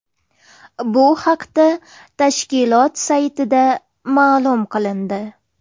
Bu haqda tashkilot saytida ma’lum qilindi .